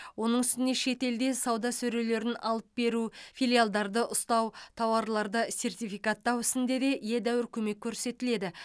оның үстіне шетелде сауда сөрелерін алып беру филиалдарды ұстау тауарларды сертификаттау ісінде де едәуір көмек көрсетіледі